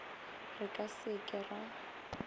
re ka se ke ra